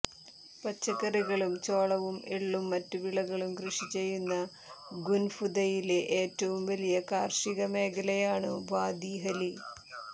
പച്ചക്കറികളും ചോളവും എള്ളും മറ്റു വിളകളും കൃഷി ചെയ്യുന്ന ഖുൻഫുദയിലെ ഏറ്റവും വലിയ കാർഷിക മേഖലയാണ് വാദി ഹലി